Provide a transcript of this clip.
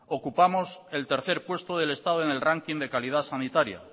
ocupamos el tercer puesto del estado en el ranking de calidad sanitaria